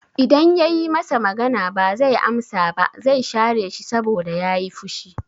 I dan yayi masa magana ba zai amsa ba, zai share shi saboda yayi fushi